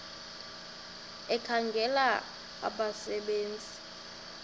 ekhangela abasebe nzi